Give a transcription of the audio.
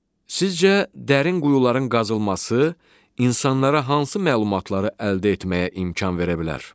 Sizcə dərin quyuların qazılması insanlara hansı məlumatları əldə etməyə imkan verə bilər?